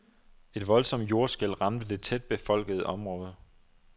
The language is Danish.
Et voldsomt jordskælv ramte det tæt befolkede område.